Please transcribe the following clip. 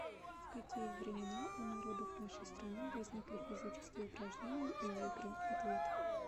в какие времена у народов нашей страны возникли физические упражнения и игры ответ